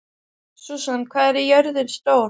Susan, hvað er jörðin stór?